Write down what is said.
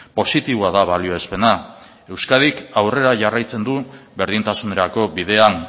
positiboa da balioespena euskadik aurrera jarraitzen du berdintasunerako bidean